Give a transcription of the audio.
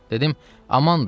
Dedim: Amandır!